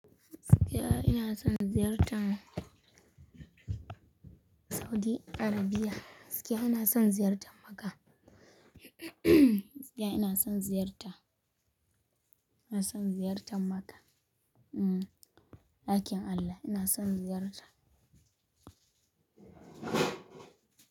Gaskiya ina son ziyartan Saudi Arabia. Gaskiya ina son ziyartan Makkah. Ske ina son ziyarta, ina son ziyartan Makkah. Dakin Allah ina son ziyarta.